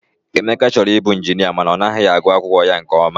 Emeka chọrọ ịbụ ịnjinịa mana ọ naghị agụ akwụkwọ ya nke ọma.